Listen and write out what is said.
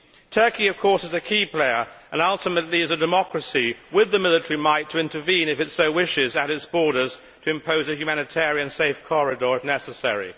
Turkey of course is a key player and ultimately is a democracy with the military might to intervene, if it so wishes, at its borders, to impose a humanitarian safe corridor if necessary.